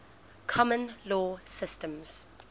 common law systems